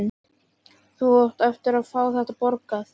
Þú átt eftir að fá þetta borgað!